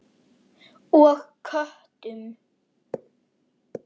Og lét vaða.